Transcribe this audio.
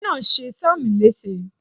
irin ni o ṣe sam lese